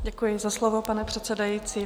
Děkuji za slovo, pane předsedající.